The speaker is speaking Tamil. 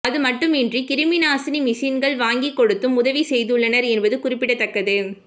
அதுமட்டுமின்றி கிருமிநாசினி மிஷின்கள் வாங்கிக் கொடுத்தும் உதவி செய்துள்ளனர் என்பது குறிப்பிடத்தக்கது